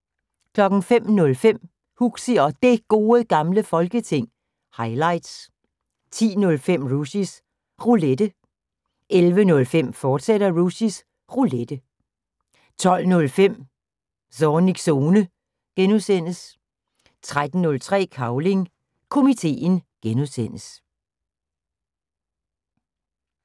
05:05: Huxi og Det Gode Gamle Folketing – highlights 10:05: Rushys Roulette 11:05: Rushys Roulette, fortsat 12:05: Zornigs Zone (G) 13:05: Cavling Komiteen (G)